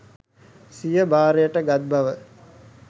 සිය භාරයට ගත් බව